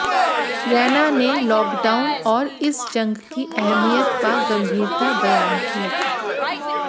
रैना ने लॉकडाउन और इस जंग की अहमियत व गंभीरता बयां की